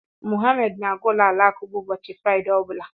Mohammed na-aga ụlọ alakụba ụbọchị Fraịde ọ bụla.